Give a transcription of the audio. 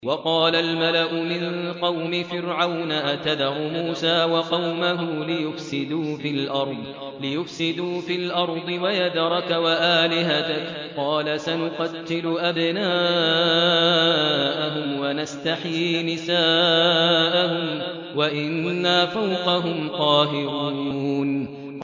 وَقَالَ الْمَلَأُ مِن قَوْمِ فِرْعَوْنَ أَتَذَرُ مُوسَىٰ وَقَوْمَهُ لِيُفْسِدُوا فِي الْأَرْضِ وَيَذَرَكَ وَآلِهَتَكَ ۚ قَالَ سَنُقَتِّلُ أَبْنَاءَهُمْ وَنَسْتَحْيِي نِسَاءَهُمْ وَإِنَّا فَوْقَهُمْ قَاهِرُونَ